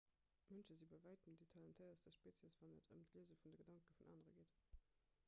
mënsche si bei wäitem déi talentéiertst spezies wann et ëm d'liese vun de gedanke vun anere geet